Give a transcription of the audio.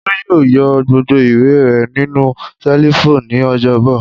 Olú yóò yọ gbogbo ìwé rẹ̀ nínú ṣẹ́lífù ní ọjọ́bọ̀.